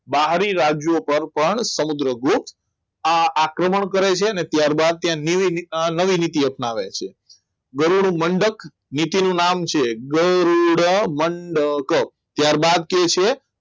બહારી રાજ્યો પર પણ સમુદ્રગુપ્ત આ આક્રમણ કરે છે અને ત્યારબાદ તેને નવીનીતિ અપનાવે છે ગરુડમંડક નીતિનું નામ છે ગરોડા મંડક ત્યારબાદ છે